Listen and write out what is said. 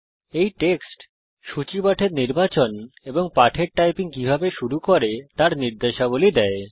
এই টেক্সট সূচী পাঠের নির্বাচন এবং পাঠের টাইপিং কিভাবে শুরু করে তার নির্দেশাবলী দেয়